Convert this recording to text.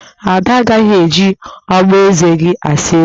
Ada agaghị eji ogboeze gị asa eze